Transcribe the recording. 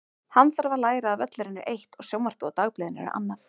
Hann þarf að læra að völlurinn er eitt og sjónvarpið og dagblöðin eru annað.